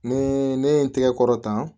Ne ne ye n tigɛ kɔrɔ tan